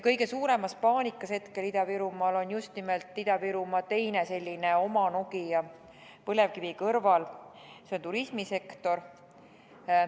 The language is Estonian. Kõige suuremas paanikas Ida-Virumaal on aga just nimelt Ida-Virumaa teine selline oma Nokia põlevkivi kõrval: see on turismisektor.